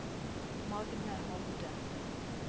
Magne Hovde